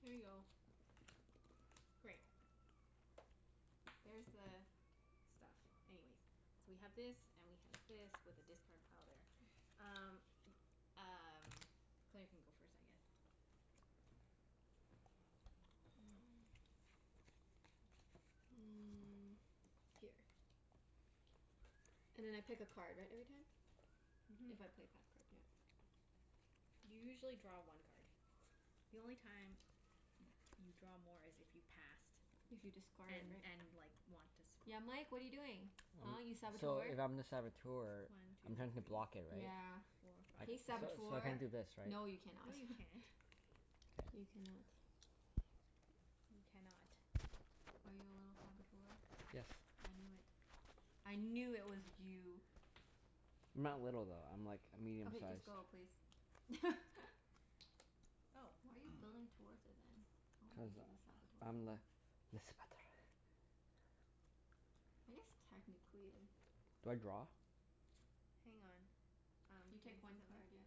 Here you go. Great. There's the stuff. Anyways So we have this, and we have this, with the discard pile there. Um, y- um, Claire can go first I guess. Mm, here. And then I pick a card, right? Every time? Mhm. If I play a path card, yeah. You usually draw one card. The only time y- you draw more is if you passed If you discarded, and right? and like, want to swap. Yeah, Mike? What are you doing? Huh, you I'm, so, Saboteur? if I'm the Saboteur One two I'm trying to block it, three right? Yeah. four I, five Hey six so seven. so I Saboteur! can't do this, right? No, you cannot. No you can't. K. You cannot. You cannot. Are you a little Saboteur? Yes. I knew it. I knew it was you. I'm not little, though. I'm like, a medium Okay, just size. go please. Oh. Why are you building towards it, then? I don't Cuz think he's a Saboteur I'm the le Saboteur. I guess technically Do I draw? Hang on. Um, You can take I see one something? card, yeah.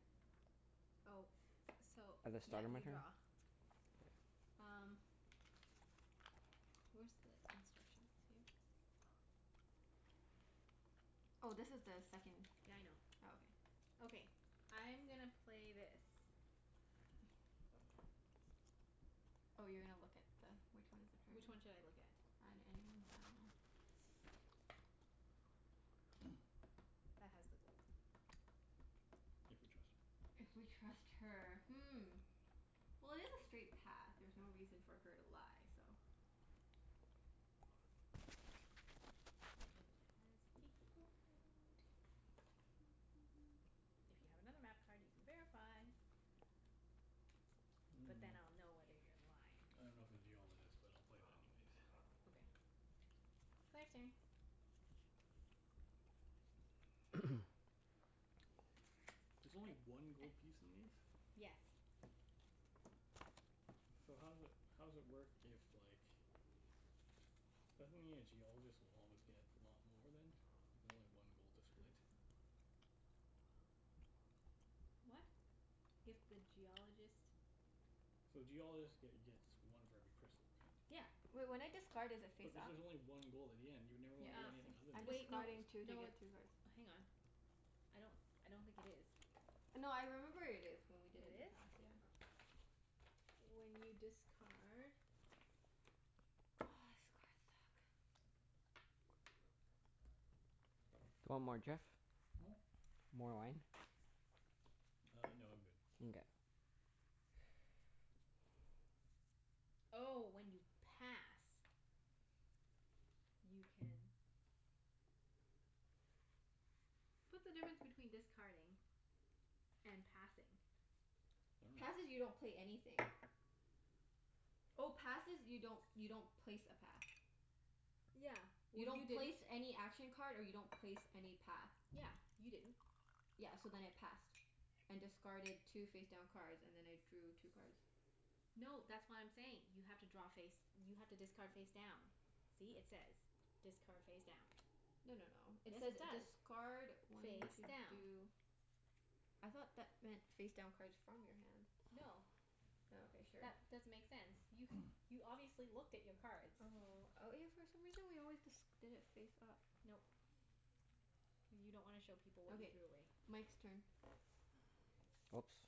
Oh, so, At the yeah, start of my you turn? draw. Um where's the instructions? Here? Oh, this is the second Yeah, I know. Oh, okay. Okay. I'm gonna play this. Oh, you're gonna look at the, which one is the card? Which one should I look at? On any one, I dunno. That has the gold. If we trust her. If we trust her. Hmm. Well, it is a straight path. There's no reason for her to lie, so It has the gold. If you have another map card you can verify. But then Mm. I'll know whether you're lying. I don't know if the Geologist, but I'll play that anyways. Okay. Claire's turn. There's only I I one gold piece in these? Yes. So how does it, how does it work if like Doesn't it mean a Geologist will always get lot more then? If you only have one gold to split? What? If the Geologist So Geologist get gets one for every crystal, right? Yeah. Wait, when I discard is it But face this up? is only one gold at the end. You'd never Yeah, wanna be Uh, it anything is other so I'm than the wait. No discarding Geologist. two to no, get it's two cards. Hang on. I don't I don't think it is. No, I remember it is, when we It did in the is? past. Yeah. When you discard Oh, this cards suck. Do you want more, Jeff? Hmm? More wine? Uh, no, I'm good. Nkay. Oh, when you pass. You can What's the difference between discarding and passing? I dunno. Passing, you don't pay anything. Oh, passes you don't, you don't place a path. Yeah. You Well, you don't place didn't any action card and you don't place any path. Yeah. You didn't. Yeah, so then I passed. And discarded two face down cards, and then I drew two cards. No, that's what I'm saying. You have to draw face, you have to discard face down. See? It says, "Discard face down." No no no, it Yes, says it does. discard when Face to down. do I thought that meant face down cards from your hand. No. Oh, okay. Sure. That doesn't make sense. You you obviously looked at your cards. Oh, oh yeah for some reason we always disc- did it face up. Nope. Cuz you don't wanna show people what you Okay, threw away. Mike's turn. Oops.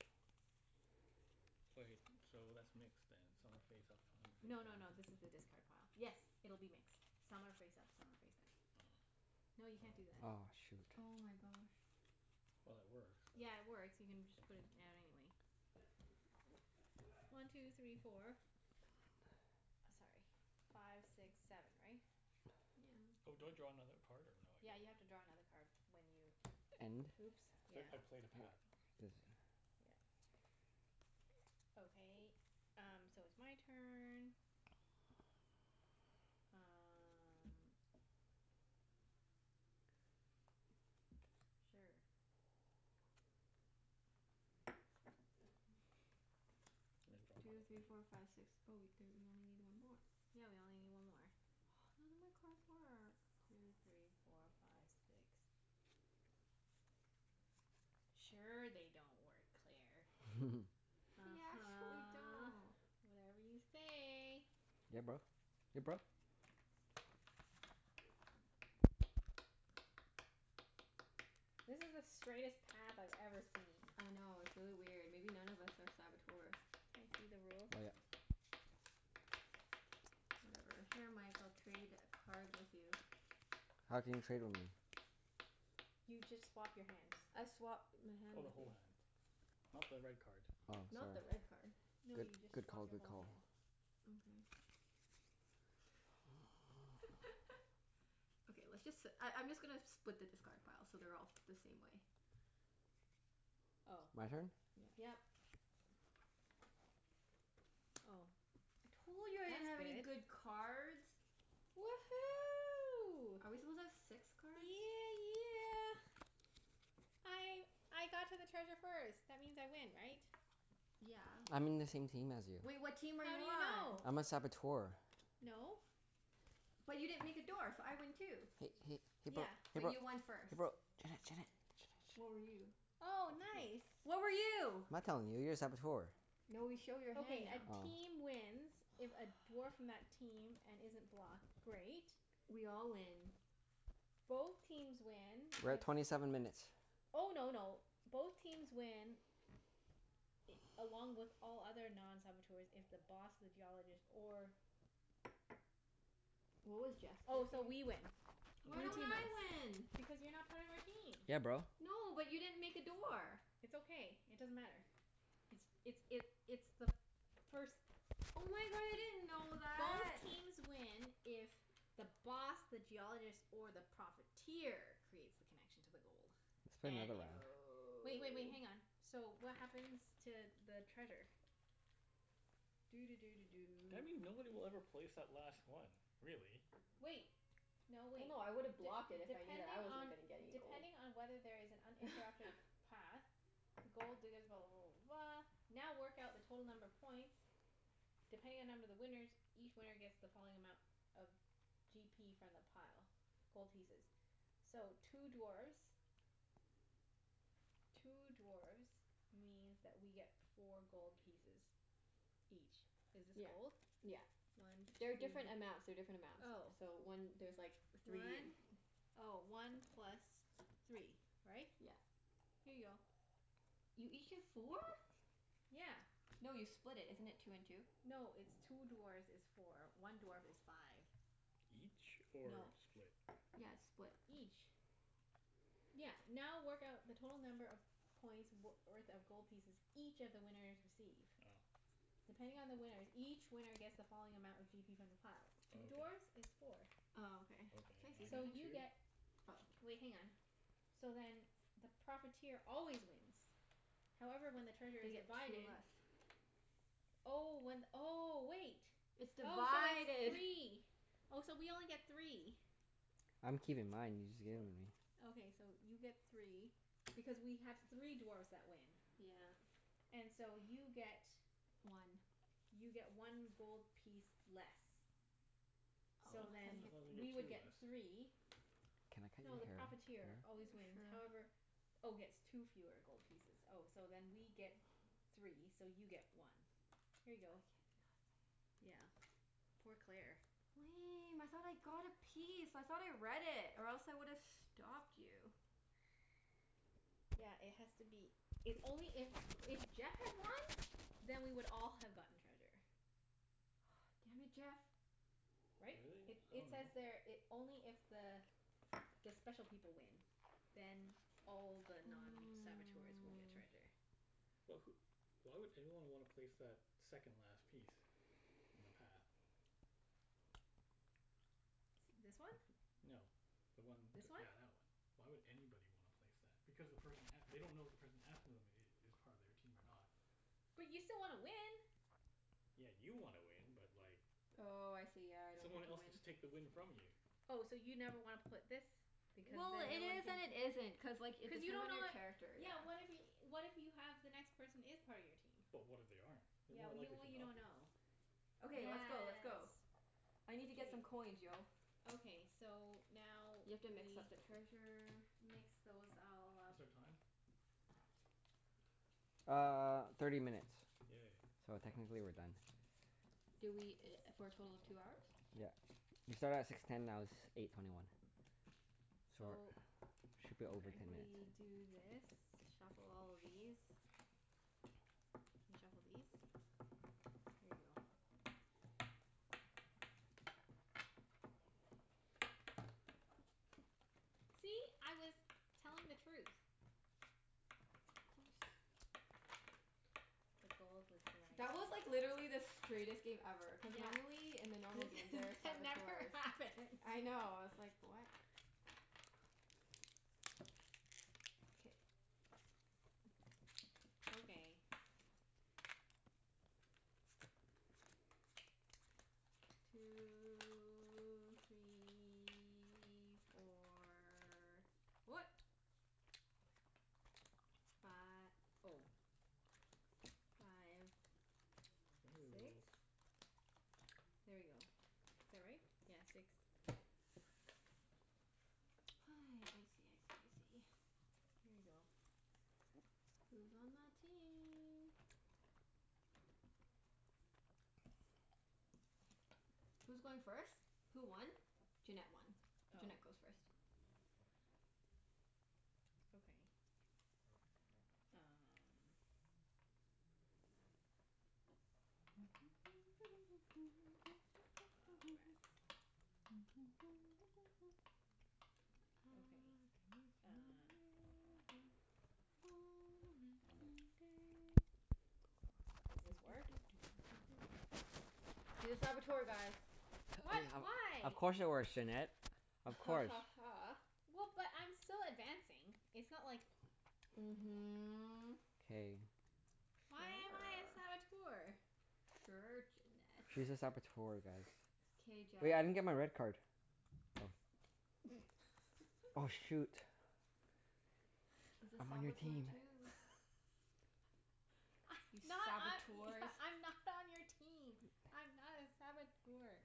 Wait, so that's mixed then. Some are face up, some of them No no no, are face down. this is the discard pile. Yes, it'll be mixed. Some are face up, some are face down. Oh. No, you can't do that. Aw, shoot. Oh my gosh. Well, it works, so Yeah, it works. You can just put it down anyway. One two three four. Sorry, five six seven, right? Yeah. Oh, do I draw another card, or no, Yeah, I you have to don't? draw another card when you And Oops, yeah. Cuz I I played a path. This. Yep. Okay, um, so it's my turn. Um Sure. I draw Two three four another five six. Oh wait, there, you only need one more. Yeah, we only need one more. None of my cards work. Two three four five six. Sure they don't work, Claire. They actually uh-huh. don't. Whatever you say. Yeah, bro. Ya bro? This is the straightest path I've ever seen. I know, it's really weird. Maybe none of us are Saboteurs. Can I see the rules? Oh yeah. Whatever. Here Mike, I'll trade a cards with you. How can you trade with me? You just swap your hands. I swap my hand Oh, the with whole you. hand. Not the red card. Oh, Not the sorry. red card. No, Good you just good swap call. your Good whole call. hand. Okay. Okay, let's just si- I I'm just gonna split the discard pile so they're all the same way. Oh. My turn? Yeah. Yep. Oh. Told you I didn't have any That's good. good cards. Woohoo. Are we supposed to have six cards? Yeah yeah! I I got to the treasure first. That means I win, right? Yeah. I'm in the same team as you. Well, what team are you How do you on? know? I'm a Saboteur. No. But you didn't make a door, so I win Hey too. hey hey bro Yeah. hey But bro you won first. hey bro Junette Junette Junette What were you? Junette Oh, nice. What were you? I'm not telling you. You're a Saboteur. No, we show your hand Okay, a now. Oh. team wins if a dwarf from that team, and isn't blocked Great. We all win. Both teams win We're at if twenty seven minutes. Oh no no, both teams win i- along with all other non-saboteurs if the Boss, the Geologist, or What was Jeff's Oh, character? so we win. Why Blue don't team wins. I win? Because you're not part of our team. Yeah, bro. No, but you didn't make a door. It's okay. It doesn't matter. It's it's it it's the first Oh my god, I didn't know Both that! teams win if the Boss, the Geologist, or the Profiteer creates the connection to the gold. Let's play And another if, round. wait wait wait, hang on. Oh. So, what happens to the treasure? Doo doo doo doo Do I doo. mean nobody will ever place that last one, really. Wait! No, No wait. no, I D- woulda blocked it if I knew that I depending wasn't on gonna get any gold. depending on whether there is an uninterrupted path, the gold diggers blah blah blah blah blah now work out the total number of points depending on number of the winners each winner gets the following amount of g p from the pile. Gold pieces. So, two dwarfs two dwarfs means that we get four gold pieces. Each. Is this Yeah. gold? Yeah. One two They're different amounts. They're different amounts. Oh. So one, there's like three and One, oh, one plus three. Right? Yeah. Here you go. You each get four? Yeah. No, you split it. Isn't it two and two? No, it's two dwarfs is four. One dwarf is five. Each? Or No. split? Yeah, it's split. Each. Yeah, now work out the total number of points w- worth of gold pieces each of the winners receive. Oh. Depending on the winners, each winner gets the following amount of g p from the pile. Oh Two okay. dwarfs is four. Oh, okay. Can Okay, I see and I So something? get you two? get Oh. Wait, hang on. So then the Profiteer always wins. However, when the treasure They is get two divided. less. Oh, one, oh, wait. It's Oh, so it's divided. three. Oh, so we only get three. I'm keeping mine. You just gave them What? to me. Okay, so you get three. Because we have three dwarfs that win. Yeah. And so you get One. you get one gold piece less. What? So Oh, how do then, I thought they get we you two would get get t- less. three Can I No, the What? cut your hair, Profiteer Claire? always wins, Sure. however Oh, gets two fewer gold pieces Oh, so then we get three, so you get one. Here you I get go. nothing. Yeah. Poor Claire. Lame, I thought I got a piece. I thought I read it. Or else I would've stopped you. Yeah, it has to be, it's only if, if Jeff had won then we would all have gotten treasure. Ah, damn it, Jeff! Right? Really? It I it says dunno. there it, only if the the special people win then all the non-saboteurs will get Mm. treasure. But wh- why would anyone wanna place that second last piece? In the path? This one? No. The one t- This one? yeah, that one. Why would anybody wanna place that? Because the person a- they don't know if the person after them i- is part of their team or not. But you still wanna win. Yeah, you wanna win, but like Oh, I see. Yeah. I don't get someone to else could win. just take the win from you. Oh, so you never wanna put this because Well, then it no one is can and it isn't. Cuz like, it Cuz you depends don't on know your what character, Yeah, yeah. what if y- what if you have the next person is part of your team? But what if they aren't? They're Yeah, more well y- likely well to you not don't be. know. Okay, let's go. Let's Yes. go. I need to get some Wait. coins, yo. Okay. So, now You we have to mix up the treasure. mix those all up. What's our time? Uh, thirty minutes. Yay. So technically we're done. Did we i- for a total of two hours? Yeah. We started at six ten, now it's eight twenty one. So So, we should be over Okay. ten minutes. we do this. Shuffle all of these. And shuffle these. Here you go. See? I was telling the truth. Of course. The gold was That was like, literally the straightest game ever. Cuz Yeah. normally, in the normal game This there are that never Saboteurs. happens. I know. I was like, what? K. Okay. Two three four. What? Fi- oh. Five. Bending the Six? rules. There you go. Is that right? Yeah, six. I see, I see, I see. Here you go. Who's on my team? Who's going first? Who won? Junette won. Oh. Junette goes first. Okay. Um Oh, rats. I've Okay, been uh working on the railroad, all the live long day. Doo Does doo this doo work? doo doo doo doo doo. She's a Saboteur, guys. H- we What? h- of Why? course it works, Junette. Of Ha course. ha ha. Well, but I'm still advancing. It's not like Mhm. K. Why am I a Sure. Saboteur? Sure, Junette. She's a Saboteur, guys. K, Jeff. Hey, I didn't get my red card. Oh. Oh shoot. He's a I'm on your Saboteur team. too. I You not I Saboteurs. e- I'm not on your team. I'm not a Saboteur.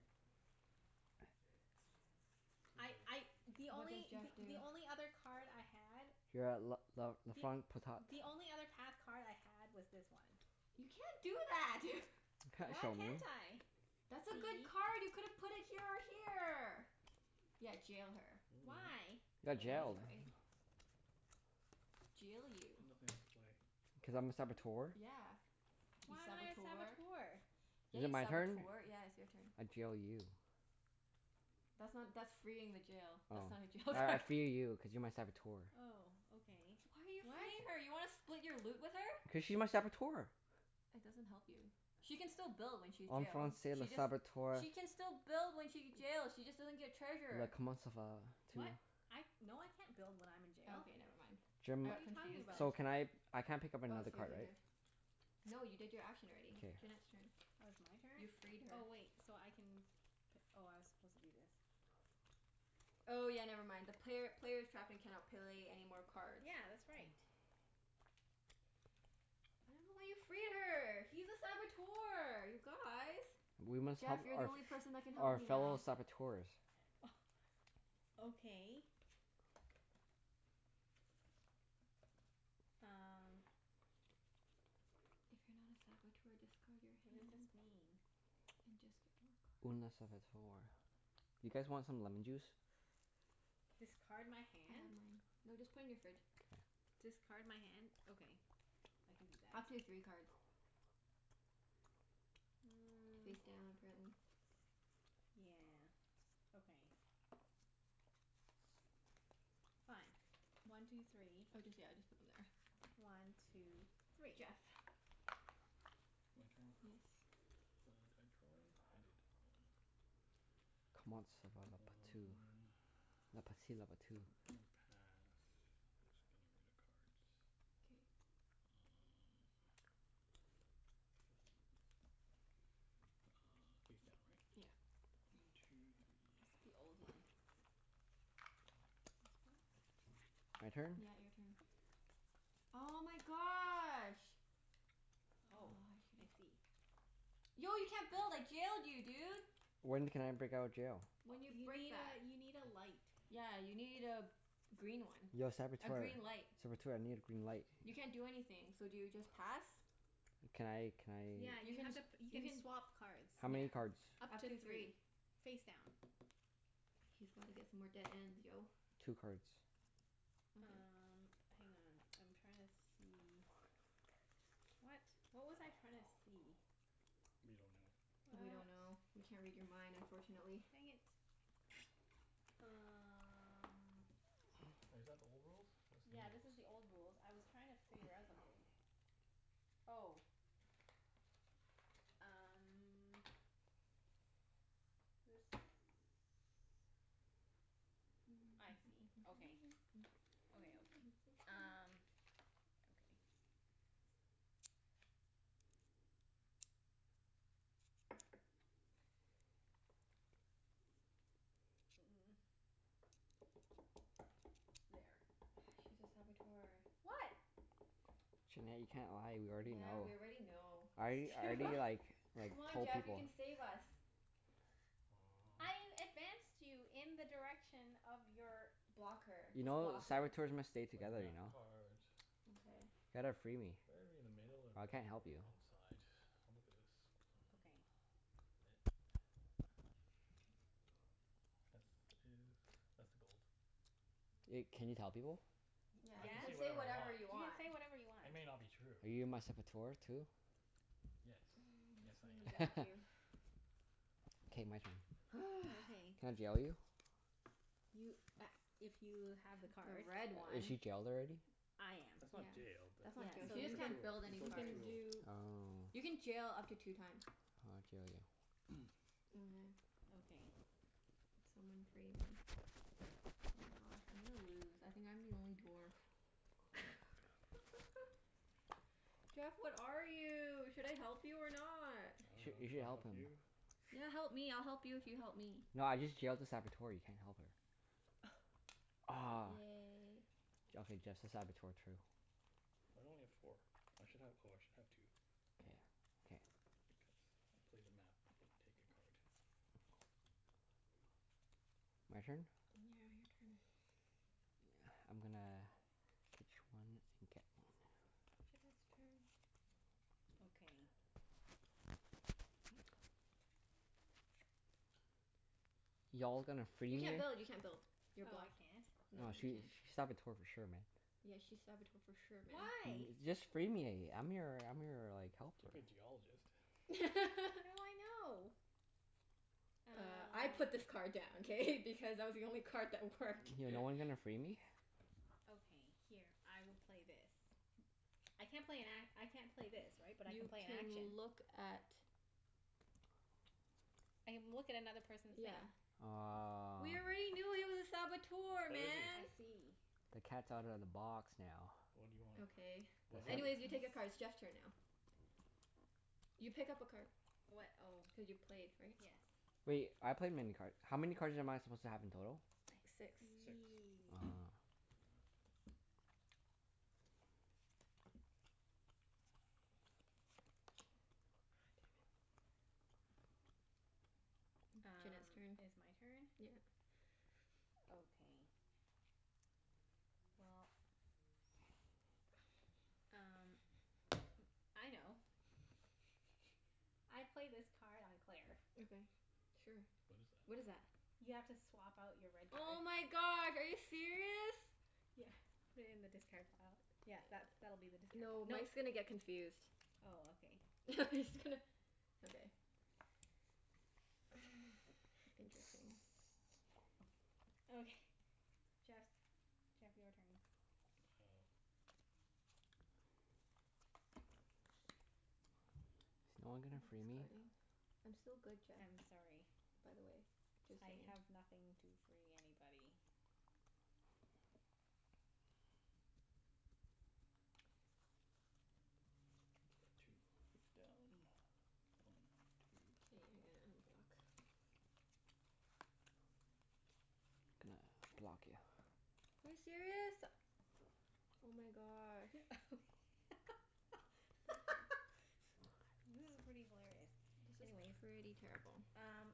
This I is I, really the confusing. What did only Jeff th- the do? only other card I had You're at l- l- la Th- front potat. the only other path card I had was this one. You can't do that! You can't Why show me. can't I? That's a See? good card! You could have put it here or here! Yeah, jail her. Mm. Why? I You got That's jailed. dunno. right. Jail you. I've nothing else to play. Cuz I'm a Saboteur. Yeah. You Why am I a Saboteur. Saboteur? Yeah, Is it you my turn? Saboteur. Yeah, it's your turn. I jail you. That's not, that's freeing the jail. Oh. That's not a jail All right, I card. free you cuz you're my Saboteur. Oh, okay. Why are you What? freeing her? You wanna split your loot with her? Cuz she's my Saboteur. That doesn't help you. She can still build when she's En jail. Français, le She just Saboteur. She can still build when she get jail she just doesn't get Le treasure. comment ça va tu? What? I, no I can't build when I'm in jail. Okay, never mind. I Jim What are got you talking confused there. so about? can I I can't pick up I was another here card, here right? here. No, you did your action already. K. Junette's turn. Oh, it's my You turn? freed her. Oh, wait, so I can p- oh, I was supposed to do this. Oh yeah, never mind. The player player's trapped and cannot play any more cards. Yeah, that's right. I don't know why you free her. He's a Saboteur, you guys! We must help Jeff, you're the our only person that can f- help our me fellow now. Saboteurs. Oh, okay. Um If you're not a Saboteur, discard your What does this hand. mean? And just get more Une a cards. Saboteur. You guys want some lemon juice? K. Discard my I have hand? mine. No, just put in your fridge. Discard my hand? Okay. I can do that. Up to three cards. Mm. Face down, apparently. Yeah, okay. Fine. One two three. Oh just, yeah, just put them there. One two three. Jeff. My turn? Yes. Uh, did I draw one? I did. On. Comment ça va la patou. Uh La patit la patou. I'm gonna pass. Just getting rid of cards. K. Um, hmm. Uh, face down, right? Yeah. One two It's the three. old one. This one? My turn? Yeah, your turn. Oh my gosh. Oh, Oh, I I should've see. Yo, you can't build! I jailed you, dude! When can I break out of jail? When you You break need that. a, you need a light. Yeah, you need a green one. Yo A Saboteur, green light. Saboteur, I need a green light. You can't do anything. So do you just pass? Can I can I Yeah, You you can, have to p- you you can can swap cards. How Yeah. many cards? Up Up to to three. three. Face down. He's gotta get some more dead ends, yo. Two cards. Okay. Um, hang on. I'm trying to see What? What was I trying to see? We don't know. We What? don't know. We can't read your mind, unfortunately. Dang it. Um Wait, is that the old rules? That's new Yeah, this is rules. the old rules. I was trying to figure out something. Oh. Um This, I see. Okay. Okay, okay. Um Okay. Mm. There. Ah, she's a Saboteur. What? Junette, you can't lie. We already Yeah, know. we already know. I It's too I do Wha- like, like Come on told Jeff, you people. can save us. I Mm. advanced you in the direction of your Block her. You Just know, block her. Saboteurs must stay I play a together, you map know? card. Okay. Ya gotta free me. Better to be in the middle or I better can't to be help on you. the one side? I'll look at this. Mm. Okay. It This is, that's the gold. Wait, can you tell people? Y- Yeah, I you yeah. can You can say can say say whatever whatever I you want. want. whatever you want. It may not be true. Are you my Saboteur too? Yes. Yes, Guess I'm gonna I am. block you. K, my turn. Okay. Can I jail you? You a- if you have the The card. red Is one. she jailed already? I am. That's not Yeah. jailed. That That's You broke Yeah. not jail. So She just you a can, can't tool. build You any you broke a cards. can tool. do Oh. You can jail up to two times. I'll jail you. Mhm. Okay. Someone free me. Oh my gosh, I'm gonna lose. I think I'm the only dwarf. Jeff, what are you? Should I help you or not? I You sh- dunno. you should Should I help help him. you? Yeah, help me. I'll help you if you help me. No, I just jailed a Saboteur. You can't help her. Aw. Yay. J- okay, just the Saboteur, true. Why do I only get four? I should have, oh I should have two. K. More. K. Because I play the map and take a card. My turn? Yeah, your turn. I'm gonna ditch one and get one. Jeff has a turn. Okay. Y'all gonna free You me? can't build. You can't build. You're Oh, I blocked. can't? No, Nah, you she can't. sh- she's Saboteur for sure, man. Yeah, she's Saboteur for sure, man. Why? Y- just free me. I'm your I'm your like, helper. Could be a Geologist. How do I know? Uh, I put Uh this card down, k? Because it was the only card that worked. Yeah, no one gonna free me? Okay, here. I will play this. I can't play an a- I can't play this, right? But I can You play an can action? look at I can look at another person's Yeah. hand. Aw. We already knew he was a Saboteur, What is he? man! I see. The cat's outta the box now. What do you want? Okay. What do Anyways, you you take a He's card. It's Jeff's turn now. You pick up a card. What? Oh. Cuz you played, right? Yes. Wait, I played many card, how many cards am I supposed to have in total? I Six. Six. see. Ah. Aw, damn it. Junette's Um, turn. it's my turn? Yeah. Okay. Well, um m- I know. I play this card on Claire. Okay, sure. What is that? What is that? You have to swap out your red Oh card. my god, are you serious? Yeah, put it in the discard pile. Yeah, that's, that'll be the discard pile. No, Mike's Mike's gonna get confused. Oh, okay. I'm just gonna Okay. Interesting. Okay. Jeff's. Jeff, your turn. Oh. Is no one Are gonna you free me? discarding? I'm still good, Jeff. I'm sorry. By the way. Just I saying. have nothing to free anybody. It's card two, face down. One K, two. you're gonna unblock Gonna block you. Are you serious? Oh my gosh. Thank you. This is pretty hilarious. This is Anyways pretty terrible. Um,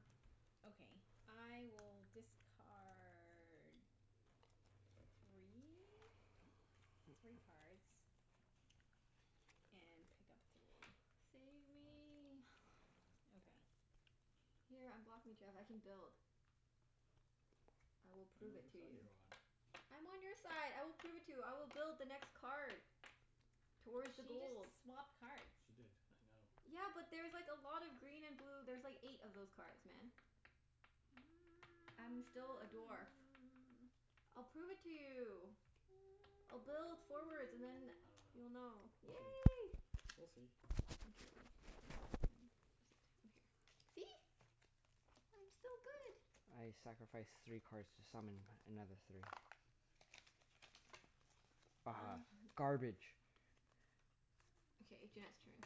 okay. I will discard three? Three cards. And pick up three. Save me. Okay. Here, unblock me, Jeff. I can build. I will I prove dunno it whose to side you. you're on. I'm on your side. I will prove it to you. I will build the next card. Towards the She just gold. swapped cards. She did. I know. Yeah, but there's like a lot of green and blue. There's like eight of those cards, man. I'm still a dwarf. I'll prove it to you. I'll build forwards and then I you'll know. dunno. We'll Yay. see. We'll see. Okay, We'll which see. one? Is a two, here. See? I'm still good. I sacrifice three cards to summon another three. Ah! Garbage. Okay, Junette's turn.